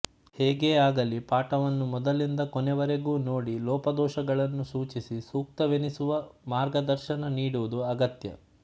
ಹೇಗೇ ಆಗಲಿ ಪಾಠವನ್ನು ಮೊದಲಿಂದ ಕೊನೆಯವರೆಗೂ ನೋಡಿ ಲೋಪದೋಷಗಳನ್ನು ಸೂಚಿಸಿ ಸೂಕ್ತವೆನಿಸುವ ಮಾರ್ಗದರ್ಶನ ನೀಡುವುದು ಅಗತ್ಯ